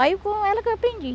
Aí com ela que eu aprendi.